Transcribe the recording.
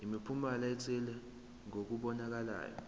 imiphumela ethile kokubonakalayo